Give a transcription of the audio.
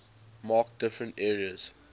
mark different areas